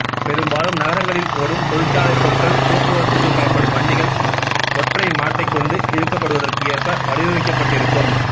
பெரும்பாலும் நகரங்களில் ஓடும் தொழிற்சாலைப் பொருட்கள் போக்குவரத்துக்குப் பயன்படும் வண்டிகள் ஒற்றை மாட்டைக் கொண்டு இழுக்கப்படுவதற்கு ஏற்ப வடிவமைக்கப்பட்டிருக்கும்